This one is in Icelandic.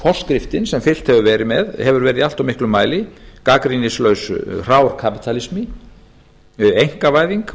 forskriftin sem fylgt hefur verið með hefur verið í allt of miklum mæli gagnrýnislaus hrár kapítalismi einkavæðing